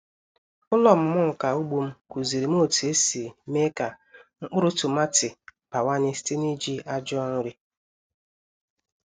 Ụlọ ọmụmụ nka ugbo m kụziri m otu esi mee ka mkpụrụ tomati bawanye site n’iji ajọ nri.